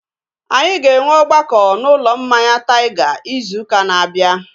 Anyị ga-enwe ọgbakọ na ụlọ mmanya Taiga izu ụka na-abịa